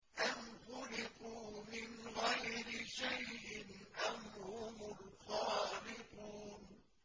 أَمْ خُلِقُوا مِنْ غَيْرِ شَيْءٍ أَمْ هُمُ الْخَالِقُونَ